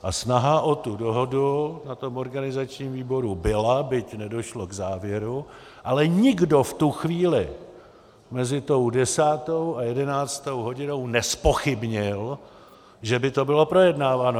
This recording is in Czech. A snaha o tu dohodu na tom organizačním výboru byla, byť nedošlo k závěru, ale nikdo v tu chvíli mezi tou desátou a jedenáctou hodinou nezpochybnil, že by to bylo projednáváno.